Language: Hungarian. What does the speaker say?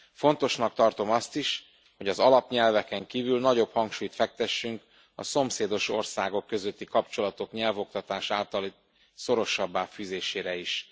Fontosnak tartom azt is, hogy az alapnyelveken kívül nagyobb hangsúlyt fektessünk a szomszédos országok közötti kapcsolatok nyelvoktatás általi szorosabbá fűzésére is.